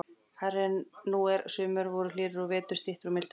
hærri en nú er, sumur voru hlýrri og vetur styttri og mildari.